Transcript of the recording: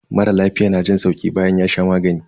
Mara lafiya na jin sauki bayan ya sha magani.